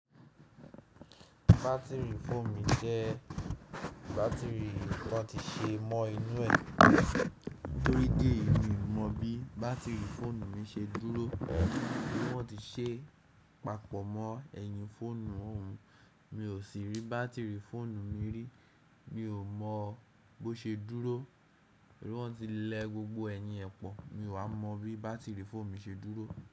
Batiri fóònù mi jẹ́ batiri ton ti ṣe mọ inú ẹ̀. Nítorí idi eyi mi mọ bí batiri fóònù mi ṣe dúró. Wọ́n ti ṣe papọ̀ mọ ẹ̀yìn fóònù òhun, mi ò sì rí batiri fóònù mi rí. Mi ò mọ bó ṣe dúró. Wọ́n ti lẹ gbogbo ẹ̀yìn ẹ́pọ̀, mi ò wá mọ bí batiri fóònù mi ṣe dúró.